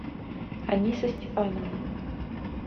аниса степановна